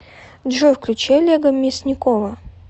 джой включи олега мясникова